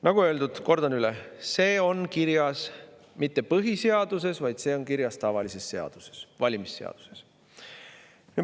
Nagu öeldud, kordan üle, see on kirjas mitte põhiseaduses, vaid see on kirjas tavalises seaduses, valimisseaduses.